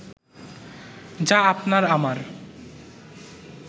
যা আপনার-আমার